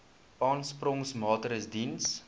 aansporingsmaatre ls diens